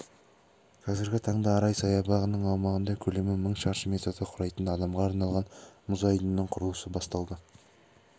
қазіргі таңда арай саябағының аумағында көлемі мың шаршы метрді құрайтын адамға арналған мұз айдынының құрылысы басталды